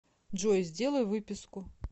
джой сделай выписку